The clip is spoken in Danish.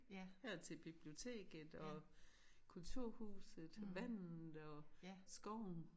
Her til biblioteket og kulturhuset og vandet og skoven